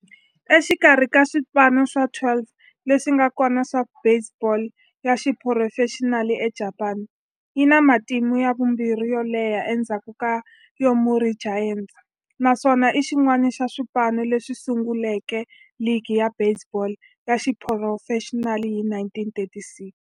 Exikarhi ka swipano swa 12 leswi nga kona swa baseball ya xiphurofexinali eJapani, yi na matimu ya vumbirhi yo leha endzhaku ka Yomiuri Giants, naswona i xin'wana xa swipano leswi sunguleke ligi ya baseball ya xiphurofexinali hi 1936.